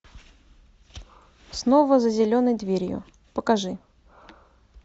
снова за зеленой дверью покажи